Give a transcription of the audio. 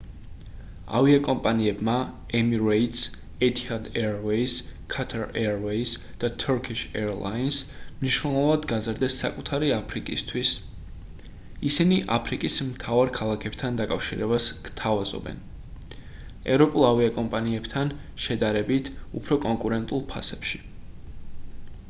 ავიაკომპანიებმა emirates etihad airways qatar airways და turkish airlines მნიშვნელოვნად გაზარდეს საკუთარი აფრიკისთვის ისინი აფრიკის მთავარ ქალაქებთან დაკავშირებას გვთავაზობენ სხვა ევროპულ ავიაკომპანიებთან შედარებით უფრო კონკურენტულ ფასებში